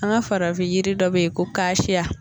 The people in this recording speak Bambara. An ga farafin yiri dɔ be yen ko kaasiya